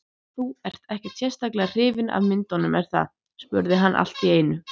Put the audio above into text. Þú ert ekkert sérlega hrifin af myndunum, er það? spurði hann allt í einu.